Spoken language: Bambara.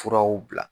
Furaw bila